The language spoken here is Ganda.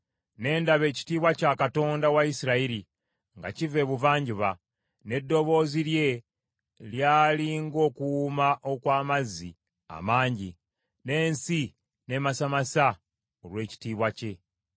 ne ndaba ekitiibwa kya Katonda wa Isirayiri nga kiva Ebuvanjuba, n’eddoboozi lye lyali ng’okuwuuma okw’amazzi amangi, n’ensi n’emasamasa olw’ekitiibwa kye.